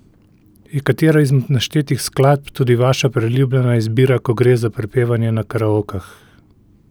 Je katera izmed naštetih skladb tudi vaša priljubljena izbira, ko gre za prepevanje na karaokah?